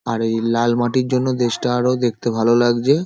আর এই লাল মাটির জন্য দেশটা আরও দেখতে ভালো লাগছে ।